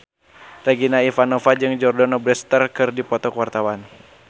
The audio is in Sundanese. Regina Ivanova jeung Jordana Brewster keur dipoto ku wartawan